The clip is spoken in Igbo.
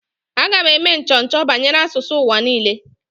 Aga m eme nchọcha banyere asụsụ ụwa niile.